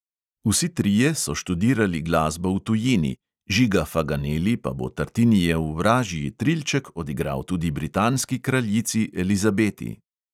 Vsi trije so študirali glasbo v tujini, žiga faganeli pa bo tartinijev vražji trilček odigral tudi britanski kraljici elizabeti.